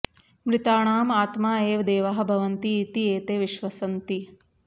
मृताणाम् आत्मा एव देवाः भवन्ति इति एते विश्वसन्ति